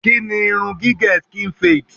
Kí ni irun gígẹ̀ skin fade?